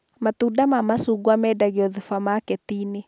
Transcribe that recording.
Matunda ma macungwa mendagio thubamaketi-inĩ